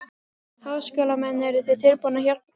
Háskólamenn, eruð þið tilbúnir að hjálpa til?